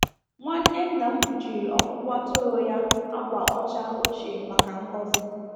Nwanne nna m kpuchiri ọkpụkpụ atụrụ ya akwa ọcha ochie maka ngọzi.